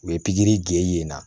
U ye pikiri gɛn yen